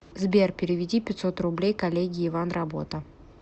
сбер переведи пятьсот рублей коллеге иван работа